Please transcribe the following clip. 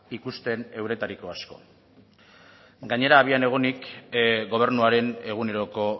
ikusten euretariko asko gainera abian egonik gobernuaren eguneroko